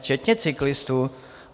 Včetně cyklistů.